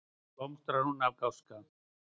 Þá blómstrar hún af gáska.